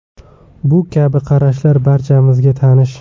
Bu kabi qarashlar barchamizga tanish.